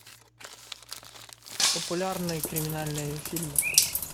популярные криминальные фильмы